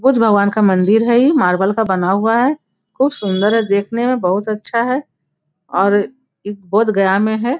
बुद्ध भगवान का मंदिर हेय इ मार्बल का बना हुआ है बहुत सुन्दर है देखने में बहुत अच्छा है और इ बोधगया में है।